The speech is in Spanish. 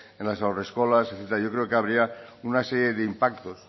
en las haurreskolak etcétera yo creo que habría una serie de impactos